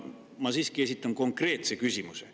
Ma siiski esitan konkreetse küsimuse.